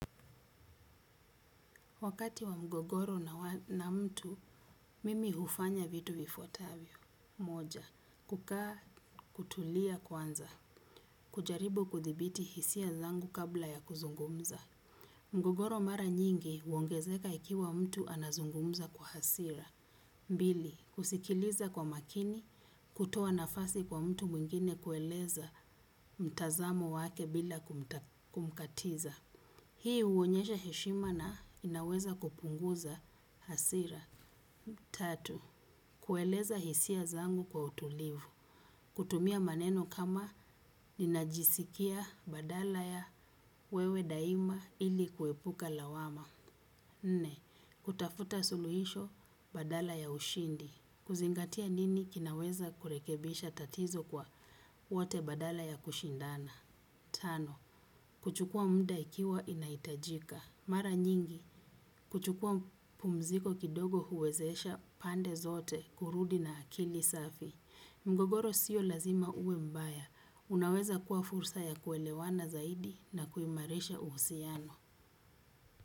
Wakati wa mgogoro na mtu, mimi hufanya vitu vifuatavyo. Moja, kukaa kutulia kwanza. Kujaribu kuthibiti hisia zangu kabla ya kuzungumza. Mgogoro mara nyingi, uongezeka ikiwa mtu anazungumza kwa hasira. Bili, kusikiliza kwa makini, kutoa nafasi kwa mtu mwingine kueleza mtazamo wake bila kumkatiza. Hii uonyesha heshima na inaweza kupunguza hasira. Tatu, kueleza hisia zangu kwa utulivu. Kutumia maneno kama ninajisikia badala ya wewe daima ili kuepuka lawama. Nne, kutafuta suluhisho badala ya ushindi. Kuzingatia nini kinaweza kurekebisha tatizo kwa wote badala ya kushindana. Tano, kuchukua mda ikiwa inaitajika. Mara nyingi, kuchukua pumziko kidogo huwezesha pande zote kurudi na akili safi. Mgogoro sio lazima uwe mbaya. Unaweza kuwa fursa ya kuelewana zaidi na kuimaresha uhusiano.